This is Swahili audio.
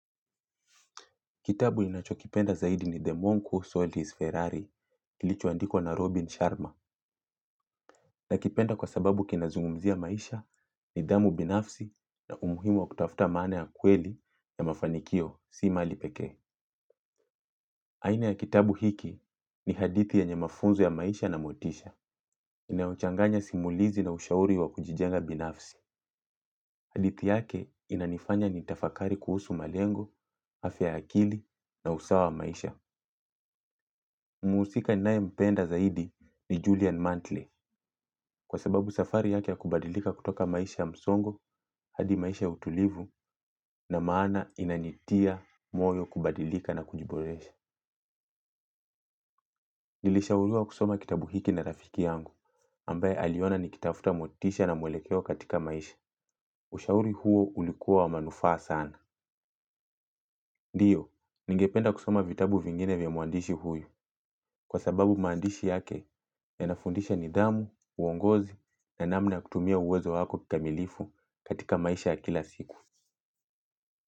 Kitabu ninachokipenda zaidi ni The Monko, Saltis, Ferrari, kilicho andikwa na Robin Sharma. Nakipenda kwa sababu kinazungumzia maisha nidhamu binafsi na umuhimu wa kutafuta maana ya kweli ya mafanikio si mali pekee. Aina ya kitabu hiki ni hadithi yenye mafunzo ya maisha na motisha. Inaochanganya simulizi na ushauri wa kujijenga binafsi. Hadithi yake inanifanya nitafakari kuhusu malengo, hafya ya akili na usawa wa maisha. Muusika ninae mpenda zaidi ni Julian Mantle. Kwa sababu safari yake ya kubadilika kutoka maisha ya msongo hadi maisha ya utulivu na maana inanitia moyo kubadilika na kujiboresha nilishauriwa kusoma kitabu hiki na rafiki yangu ambaye aliona nikitafuta motisha na mwelekeo katika maisha. Ushauri huo ulikuwa wa manufaa sana. Ndiyo, ningependa kusoma vitabu vingine vya muandishi huyu kwa sababu maandishi yake yanafundisha nidhamu, uongozi na namna ya kutumia uwezo wako kikamilifu katika maisha ya kila siku.